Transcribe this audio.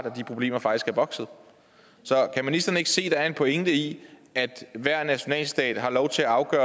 at de problemer faktisk er vokset så kan ministeren ikke se at der er en pointe i at hver nationalstat har lov til at